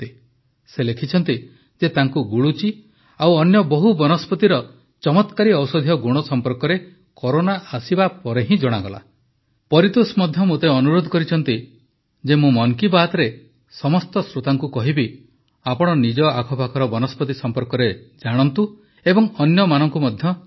ସେ ଲେଖିଛନ୍ତି ଯେ ତାଙ୍କୁ ଗୁଳୁଚି ଆଉ ଅନ୍ୟ ବହୁ ବନସ୍ପତିର ଚମତ୍କାରୀ ଔଷଧୀୟ ଗୁଣ ସମ୍ପର୍କରେ କରୋନା ଆସିବା ପରେ ହିଁ ଜଣାଗଲା ପରିତୋଷ ମଧ୍ୟ ମୋତେ ଅନୁରୋଧ କରିଛନ୍ତି ମୁଁ ମନ୍ କୀ ବାତ୍ରେ ସମସ୍ତ ଶ୍ରୋତାଙ୍କୁ କହିବି ଯେ ଆପଣ ନିଜ ଆଖପାଖର ବନସ୍ପତି ସମ୍ପର୍କରେ ଜାଣନ୍ତୁ ଏବଂ ଅନ୍ୟମାନଙ୍କୁ ମଧ୍ୟ ଜଣାନ୍ତୁ